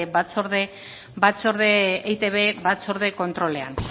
eitb batzorde kontrolean